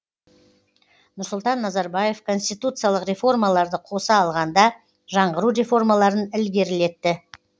нұрсұлтан назарбаев конституциялық реформаларды қоса алғанда жаңғыру реформаларын ілгерілетті